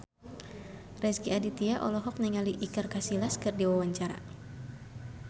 Rezky Aditya olohok ningali Iker Casillas keur diwawancara